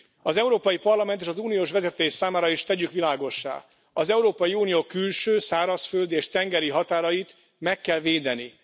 Az Európai Parlament és az uniós vezetés számára is tegyük világossá az Európai Unió külső, szárazföldi és tengeri határait meg kell védeni.